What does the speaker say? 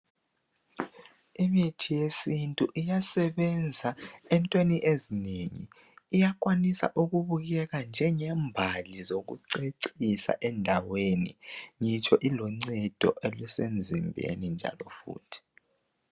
Imithi yesintu iyasebenza entweni ezinengi iyakwanisa ukubukeka njengembali zokucecisa endaweni ibuye ibe luncedo emzimbeni njalo futhi.